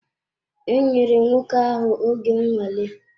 E nyèrè nwoke ahụ oge nnwale